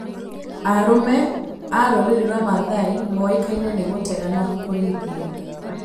Arũme a rũrĩrĩ rwa Maathai moĩkaine nĩ gũtega na kũrĩithia.